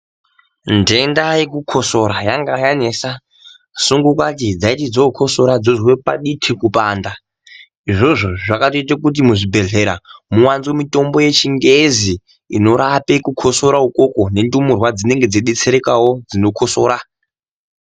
Nhenda yekukosora yanga yanesa. Sungapati dzaiti dzokosora dzoswe paditi kupanda. Izvozvo zvakatoita kuti muwande mitombo yechingezi inorape kukusora ikoko .Nendumurwa dzinenge dzeidetserekawo dzinokosora.